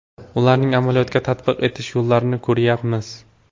Ularni amaliyotga tatbiq etish yo‘llarini ko‘ryapmiz.